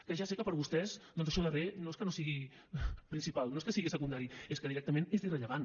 que ja sé que per vostès doncs això darrer no és que no sigui principal no és que sigui secundari és que directament és irrellevant